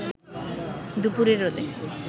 দুপুরের রোদে